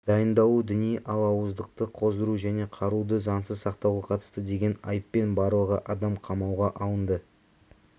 дайындалу діни алауыздықты қоздыру және қаруды заңсыз сақтауға қатысты деген айыппен барлығы адам қамауға алынды